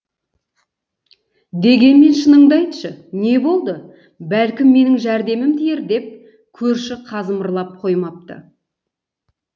дегенмен шыныңды айтшы не болды бәлкім менің жәрдемім тиер деп көрші қазымырлап қоймапты